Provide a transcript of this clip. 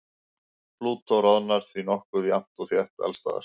Plútó roðnar því nokkuð jafnt og þétt alls staðar.